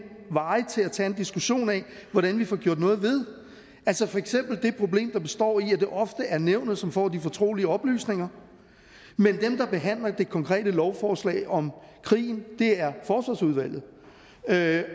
veje til at tage en diskussion af hvordan vi får gjort noget ved altså for eksempel det problem der består i at det ofte er nævnet som får de fortrolige oplysninger men at dem der behandler det konkrete forslag om krigen er